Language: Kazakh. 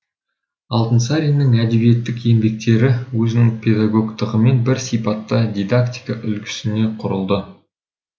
алтынсаринның әдебиеттік еңбектері өзінің педагогтығымен бір сипатта дидактика үлгісіне құрылды